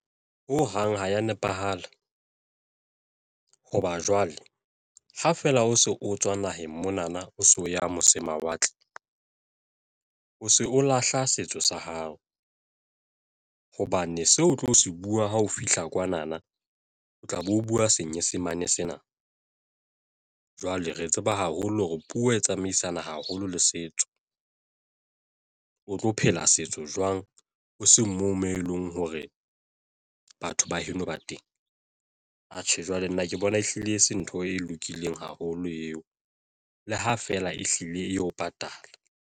Ho hang ha ya nepahala hoba jwale ha fela o se o tswa naheng mona na, o so ya mose mawatle, o se o lahla setso sa hao hobane seo o tlo se bua ha o fihla kwana na, o tla be o bua Senyesemane sena jwale re tseba haholo hore puo e tsamaisana haholo le setso. O tlo phela setso jwang o seng moo mo eleng hore batho ba heno ba teng. Atjhe, nna ke bona ehlile e se ntho e lokileng haholo eo le ha feela ehlile eo patala.